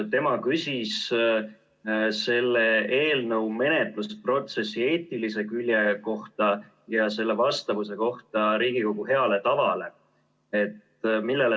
Tema küsis selle eelnõu menetlusprotsessi eetilise külje kohta ja selle vastavuse kohta Riigikogu heale tavale.